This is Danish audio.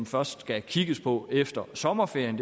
først skal kigges på efter sommerferien